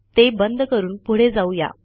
ते बंद करून पुढे जाऊ या